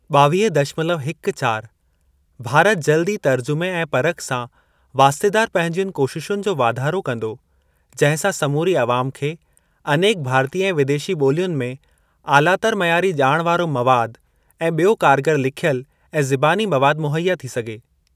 ॿावीह दशमलव हिक चार भारत जल्दु ई तर्जुमे ऐं परख सां वास्तेदार पंहिंजियुनि कोशिशुनि जो वाधारो कंदो, जहिं सां समूरी अवाम खे अनेक भारतीय ऐं विदेशी ॿोलियुनि में आलातर मयारी ॼाण वारो मवाद ऐं ॿियो कारगर लिखियलु ऐं ज़िबानी मवाद मुहैया थी सघे।